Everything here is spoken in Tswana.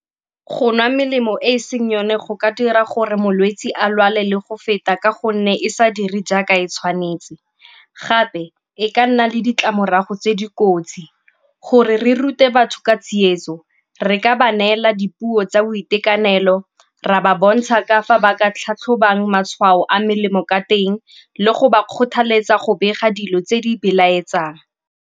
Go nwa melemo e e seng yone go ka dira gore molwetsi a lwale le go feta ka gonne e sa dire jaaka e tshwanetse gape e ka nna le ditlamorago tse di kotsi. Gore re rute batho ka tsietso re ka ba neela dipuo tsa boitekanelo, ra ba bontsha ka fa ba ka tlhatlhobong matshwao a melemo ka teng le go ba kgothaletsa go bega dilo tse di belaetsang.